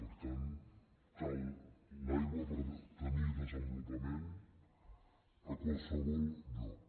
per tant cal l’aigua per tenir desenvolupament a qualsevol lloc